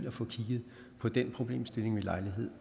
at få kigget på den problemstilling ved lejlighed